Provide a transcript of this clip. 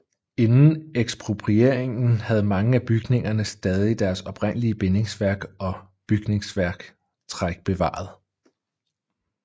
Inden eksproprieringen havde mange af bygningerne stadig deres oprindelige bindingsværk og bygningstræk bevaret